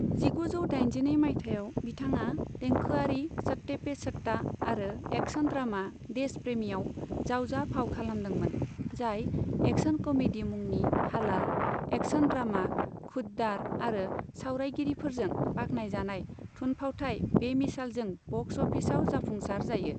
जिगुजौ दाइनजिनै मायथाइयाव बिथांआ देंखोआरि सत्ते पे सत्ता आरो एक्शन ड्रामा देश प्रेमीयाव जावजा फाव खालामदोंमोन, जाय एक्शन कमेडी मुंनि हालाल, एक्शन ड्रामा खुद दार आरो सावरायगिरिफोरजों बाख्नायजानाय थुनफावथाइ बेमिसालजों बक्स अफिसआव जाफुंसार जायो।